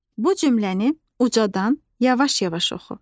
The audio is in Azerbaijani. Bu cümləni ucadan yavaş-yavaş oxu.